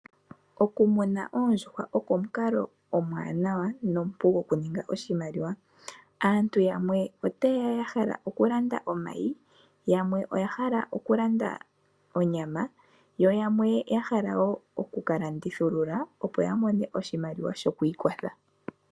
Okumuna oondjuhwa oko omukalo omuwanawa nomupu gokuninga oshimaliwa. Aantu yamwe otaye ya ya hala okulanda omayi, yamwe otaye ya ya hala okulanda onyama yo yamwe ya hala wo oku ka landithulula, opo ya mone oshimaliwa shoku ikwatha.